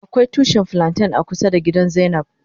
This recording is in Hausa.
Akwai tushi flanten a kusa da gida zainab.